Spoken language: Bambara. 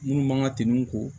Minnu man ka tɛm'u kɔ